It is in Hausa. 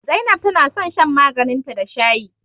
Zainab tana son shan maganin ta da shayi